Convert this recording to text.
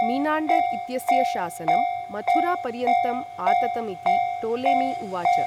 मिनाण्डर् इत्यस्य शासनं मथुरापर्यन्तं आततमिति टोलेमी उवाच।